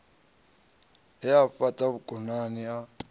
hae u fhata vhukonani a